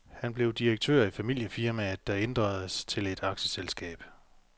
Han blev direktør i familiefirmaet, der ændredes til et aktieselskab.